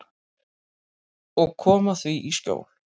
Og koma því í skjól.